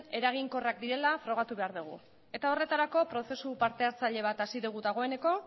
eraginkorrak direla frogatu behar dugu horretarako prozesu parte hartzaile bat hasi dugu dagoeneko